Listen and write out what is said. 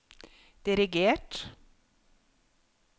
dirigert